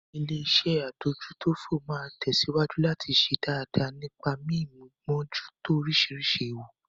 Illéeṣẹ́ adójútófò máa tẹ̀síwájú láti ṣe dáadáa nípa mí mímójútó oríṣiríṣi ewu.